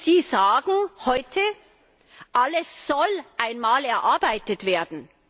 Sie sagen heute Alles soll einmal erarbeitet werden.